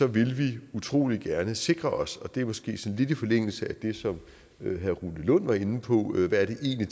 vil vi utrolig gerne sikre os og det er måske sådan lidt i forlængelse af det som herre rune lund var inde på hvad det egentlig